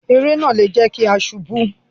Eré náà lè jẹ kí a sunkún.